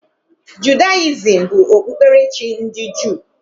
Judayizim bụ okpukperechi ndị Juu.